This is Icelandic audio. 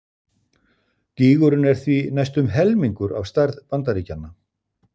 Gígurinn er því næstum helmingur af stærð Bandaríkjanna!